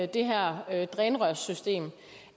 det her drænrørssystem